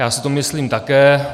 Já si to myslím také.